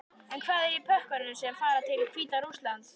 En hvað er í pökkunum sem fara til Hvíta-Rússlands?